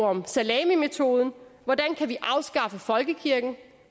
om salamimetoden hvordan kan vi afskaffe folkekirken